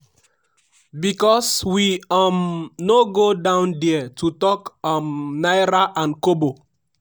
because we um no go down there to talk um naira and kobo.”